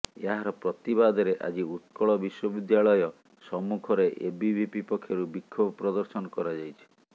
ଏହାର ପ୍ରତିବାଦରେ ଆଜି ଉକ୍ରଳ ବିଶ୍ୱବିଦ୍ୟାଳୟ ସମ୍ମୁଖରେ ଏବିଭିପି ପକ୍ଷରୁ ବିକ୍ଷୋଭ ପ୍ରଦର୍ଶନ କରାଯାଇଛି